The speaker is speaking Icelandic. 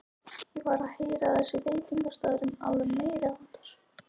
Ég var að heyra að þessi veitingastaður væri alveg meiriháttar!